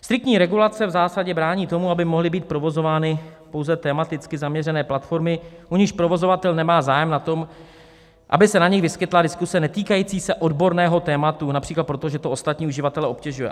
Striktní regulace v zásadě brání tomu, aby mohly být provozovány pouze tematicky zaměřené platformy, u nichž provozovatel nemá zájem na tom, aby se na nich vyskytla diskuze netýkající se odborného tématu, například proto, že to ostatní uživatele obtěžuje.